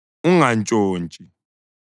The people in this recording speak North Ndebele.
Ungantshontshi.